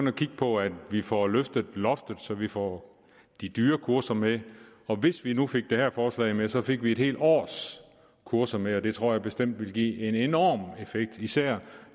at kigge på at vi får løftet loftet så vi får de dyre kurser med og hvis vi nu fik det her forslag med så fik vi et helt års kurser med det tror jeg bestemt ville give en enorm effekt især